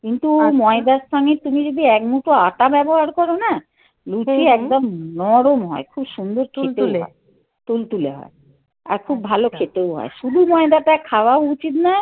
কিন্তু ময়দার স্থানে তুমি যদি এক মুঠো আটা ব্যবহার করো না? লুচি একদম নরম হয়. খুব সুন্দর তুলতুলে হয়, আর খুব ভালো খেতেও হয়। শুধু ময়দাটা খাওয়াও উচিত নয়